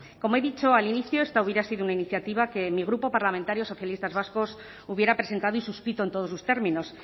como he dicho al inicio esta hubiera sido una iniciativa que mi grupo parlamentario socialistas vascos hubiera presentado y suscrito en todos sus términos